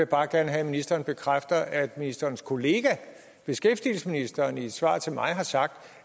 bare gerne have at ministeren bekræfter at ministerens kollega beskæftigelsesministeren i et svar til mig har sagt